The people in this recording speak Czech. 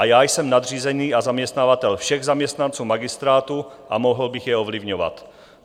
A já jsem nadřízený a zaměstnavatel všech zaměstnanců magistrátu a mohl bych je ovlivňovat.